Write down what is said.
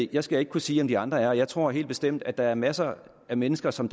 jeg skal ikke kunne sige om de andre er det jeg tror helt bestemt at der er masser af mennesker som